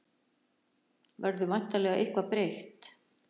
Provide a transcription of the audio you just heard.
Verður væntanlega eitthvað breytt